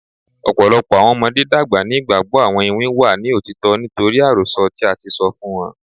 Ọpọlọpọ awọn ọmọde dagba ni igbagbọ awọn iwin wa ni otitọ nitori arosọ ti a ti sọ fun wọn